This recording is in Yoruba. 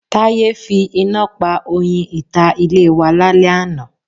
Táyé fi iná pa oyin ìta ilé wa lálẹ́ àná.